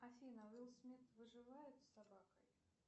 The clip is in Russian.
афина уилл смит выживает с собакой